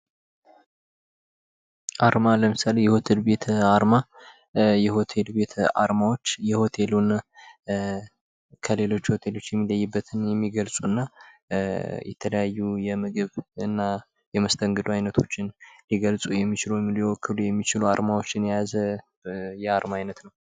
አርማ ለምሳሌ የሆቴል ቤት አርማዎች የሆቴሉን ከሌሎች ሆቴሌዎች የሚለዩበትን የሚገልፁና እና የተለያዩ የምግብ እና የመስተንግዶ አይነቶችን ሊገልፁ የሚችሉ ወይም ሊወክሉ የሚችሉ አርማዎችን የያዘ የአርማ አይነት ነዉ።